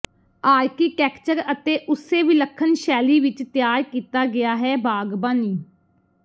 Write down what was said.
architecture ਅਤੇ ਉਸੇ ਵਿਲੱਖਣ ਸ਼ੈਲੀ ਵਿੱਚ ਤਿਆਰ ਕੀਤਾ ਗਿਆ ਹੈ ਬਾਗਬਾਨੀ